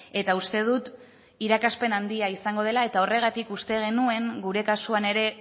eta uste dut irakaspen handia izango dela eta horregatik uste genuen gure kasuan ere